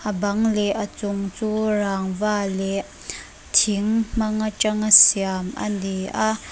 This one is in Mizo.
a bang leh a chung chu rangva leh thing hmang atanga siam ani a.